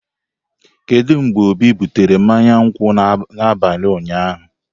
Kedu mgbe obi butere mmanya nkwụ n'abalị ụnyaahụ?